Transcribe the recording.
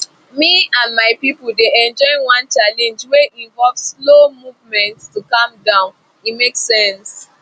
me and my people dey enjoy one challenge wey involve slow movement to calm body e make sense